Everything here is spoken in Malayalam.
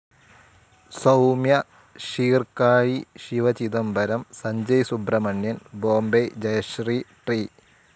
സൗമ്യ, ശീർകാഴി ശിവചിദംബരം, സഞ്ജയ് സുബ്രഹ്മണ്യൻ ‍, ബോംബെ ജയശ്രീ, ടി.